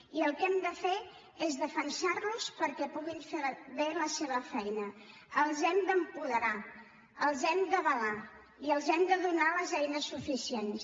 i el que hem de fer és defensar los perquè puguin fer bé la seva feina els hem d’apoderar els hem d’avalar i els hem de donar les eines suficients